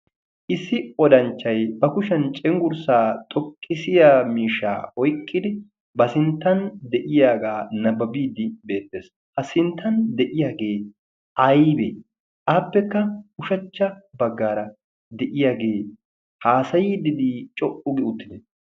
issi odanchchay ba kushiyan cenggurssaa xoqqisiya mishaa oiqqidi ba sinttan deyiyaagaa nabbabiiddi beettees. a sinttan de'iyaagee aybee aappekka ushachcha baggaara de'iyaagee haasayiidddii co'u gi uttide?